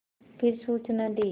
फिर सूचना दी